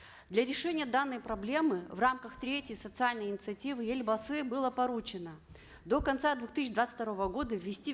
для решения данной проблемы в рамках третьей социальной инициативы елбасы было поручено до конца две тысячи двадцать второго года ввести